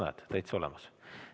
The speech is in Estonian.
Näed, pilt on täitsa olemas!